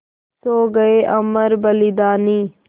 सो गये अमर बलिदानी